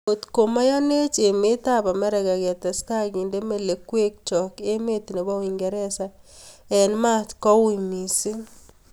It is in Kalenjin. Angot ngomeyanechh ameet Amerika ketesetai kindei melekwek chook emeet nepoo uingeresa eng maat koot mising